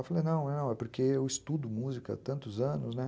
Eu falei, não, é porque eu estudo música há tantos anos, né?